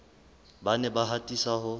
ba ne ba atisa ho